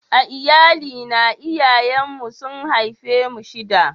A Iyalli na, iyayen mu su'n haife mu shida.